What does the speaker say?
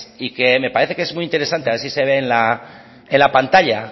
y que me parece que es muy interesante y a ver si se ve en la pantalla